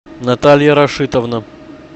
наталья рашитовна